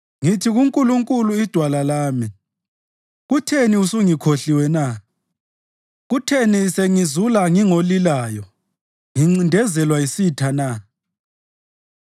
Ngithi kuNkulunkulu iDwala lami, “Kutheni usungikhohliwe na? Kutheni sengizula ngingolilayo, ngincindezelwa yisitha na?”